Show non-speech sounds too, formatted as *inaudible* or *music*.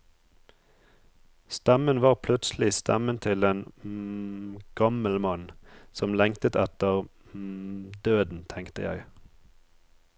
Stemmen var plutselig stemmen til en *hesitation* gammel mann, som lengtet etter *hesitation* døden, tenkte jeg.